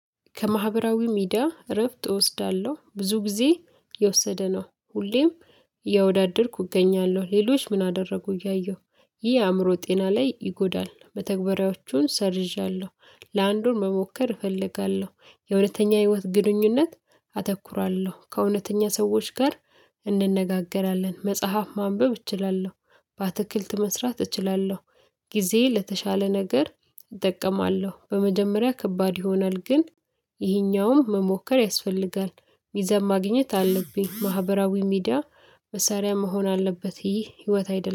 ከማህበራዊ ሚዲያ እረፍት እወስዳለሁ ብዙ ጊዜ የወሰደ ነው። ሁሌም እያወዳደርኩ እገኛለሁ ሌሎች ምን አደረጉ እያየሁ ይህ አእምሮ ጤና ላይ ይጎዳል። መተግበሪያዎቹን ሰርዣለሁ። ለአንዱን መሞከር እፈልጋለሁ የእውነተኛ ህይወት ግንኙነት አተኩራለሁ። ከእውነተኛ ሰዎች ጋር እንነጋገራለን መጽሐፍ ማንበብ እችላለሁ። በአትክልት መስራት እችላለሁ። ጊዜዬን ለተሻለ ነገር እጠቀማለሁ። በመጀመሪያ ከባድ ይሆናል ግን ይሄኛውም መሞከር ያስፈልጋል። ሚዛን ማግኘት አለብኝ ማህበራዊ ሚዲያ መሳሪያ መሆን አለበት። ይህ ህይወት አይደለም